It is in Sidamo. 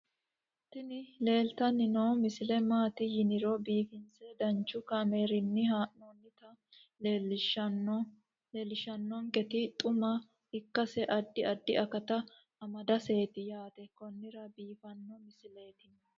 tini leeltanni noo misile maaati yiniro biifinse danchu kaamerinni haa'noonnita leellishshanni nonketi xuma ikkase addi addi akata amadaseeti yaate konnira biiffanno misileeti tini